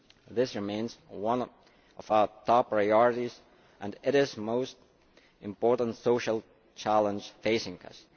This remains one of our top priorities, and it is the most important social challenge facing us.